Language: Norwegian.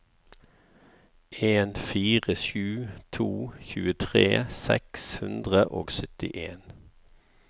en fire sju to tjuetre seks hundre og syttien